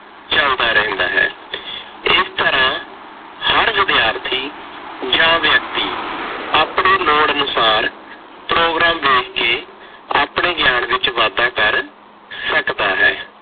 ਚੱਲਦਾ ਰਹਿੰਦਾ ਹੈ। ਇਸ ਤਰ੍ਹਾਂ ਹਰ ਵਿਦਿਆਰਥੀ ਜਾਂ ਵਿਅਕਤੀ ਆਪਣੇ ਲੋੜ ਅਨੁਸਾਰ ਪ੍ਰੋਗਰਾਮ ਵੇਖ ਕੇ ਆਪਣੇ ਗਿਆਨ ਵਿੱਚ ਵਾਧਾ ਕਰ ਸਕਦਾ ਹੈ।